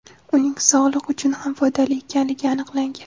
Uning sog‘liq uchun ham foydali ekanligi aniqlangan.